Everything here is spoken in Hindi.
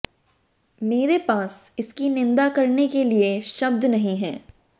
मेरे पास इसकी निंदा करने के लिए शब्द नहीं है